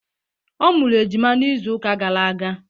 Ọ mụrụ ejima n'izu uka gara aga.